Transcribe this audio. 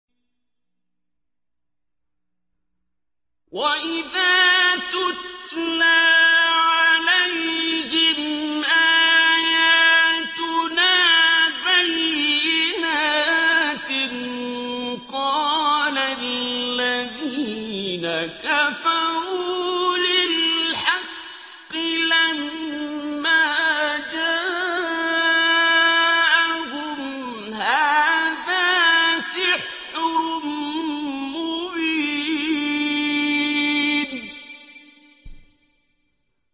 وَإِذَا تُتْلَىٰ عَلَيْهِمْ آيَاتُنَا بَيِّنَاتٍ قَالَ الَّذِينَ كَفَرُوا لِلْحَقِّ لَمَّا جَاءَهُمْ هَٰذَا سِحْرٌ مُّبِينٌ